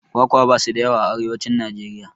Kwakwa basu da yawa a arewacin Najeriya